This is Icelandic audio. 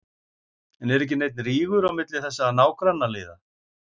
En er ekki neinn rígur á milli þessara nágrannaliða?